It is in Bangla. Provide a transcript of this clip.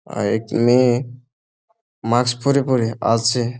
আঁ একটি মেয়ে মাস্ক পরে পরে আসছে।